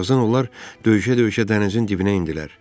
Birazdan onlar döyüşə-döyüşə dənizin dibinə endilər.